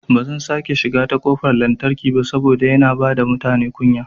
Bazan sake shiga ta kofar lantarki ba saboda yana bada mutane kunya